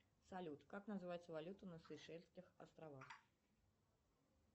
салют как называется валюта на сейшельских островах